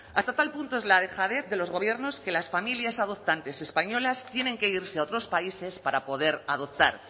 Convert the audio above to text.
hasta tal punto es la dejadez de los gobiernos que las familias adoptantes españolas tienen que irse a otros países para poder adoptar